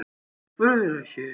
Spurðirðu ekki?